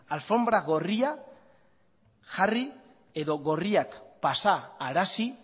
alfonbra gorria jarri edo gorriak pasarazi